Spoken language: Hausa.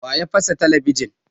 Wa ya fasa talabijin?